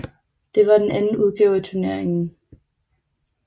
Det var den anden udgave af turneringen